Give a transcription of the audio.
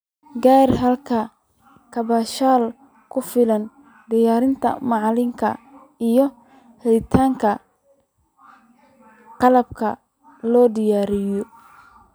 Gaar ahaan halka kaabayaasha ku filan, diyaarinta macalinka, iyo helitaanka qalab la diyaariyo.